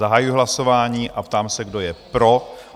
Zahajuji hlasování a ptám se, kdo je pro?